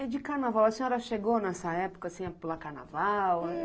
E de carnaval, a senhora chegou nessa época, assim, a pular carnaval?